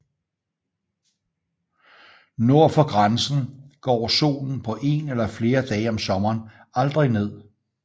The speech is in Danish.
Nord for grænsen går solen på en eller flere dage om sommeren aldrig ned